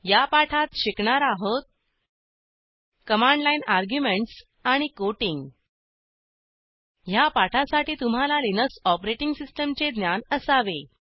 या पाठात शिकणार आहोत कमांड लाईन अर्ग्युमेंटस आणि कोटिंग ह्या पाठासाठी तुम्हाला लिनक्स ऑपरेटिंग सिस्टीमचे ज्ञान असावे